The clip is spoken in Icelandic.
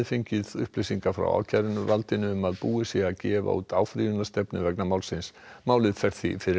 frá ákæruvaldinu um að búið sé að gefa út áfrýjunarstefnu vegna málsins málið fer því fyrir Landsrétt